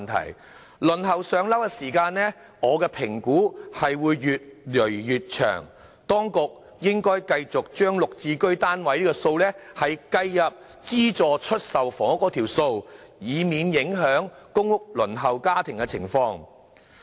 我評估輪候"上樓"的時間將會越來越長，當局應該繼續把"綠置居"單位數量計入資助出售房屋數目，以免影響公屋輪候家庭的情況。